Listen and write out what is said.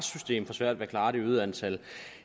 så vil